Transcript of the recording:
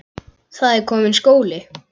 Það er kominn skóli.